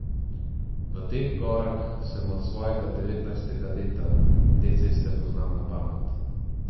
V teh gorah sem od svojega devetnajstega leta, te ceste poznam na pamet.